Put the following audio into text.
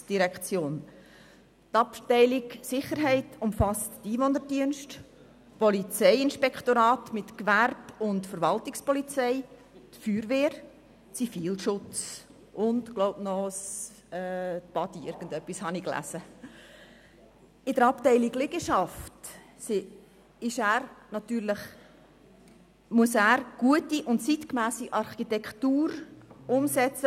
Die Abteilung Sicherheit umfasst die Einwohnerdienste, das Polizeiinspektorat mit Gewerbe- und Verwaltungspolizei, die Feuerwehr, den Zivilschutz und, ich glaube, auch die «Badi»In der Abteilung Liegenschaft muss er gute und zeitgemässe Architektur umsetzen.